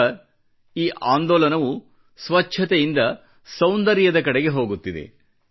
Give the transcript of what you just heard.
ಈಗ ಈ ಆಂದೋಲನವು ಸ್ವಚ್ಚತೆಯಿಂದ ಸೌಂದರ್ಯದ ಕಡೆಗೆ ಹೋಗುತ್ತಿದೆ